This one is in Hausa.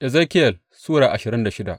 Ezekiyel Sura ashirin da shida